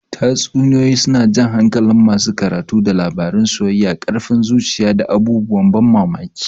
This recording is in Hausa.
Tatsuniyoyi suna jan hankalin masu karatu da labarun soyayya, ƙarfin zuciya, da abubuwan ban mamaki.